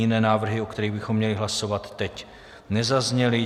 Jiné návrhy, o kterých bychom měli hlasovat teď, nezazněly.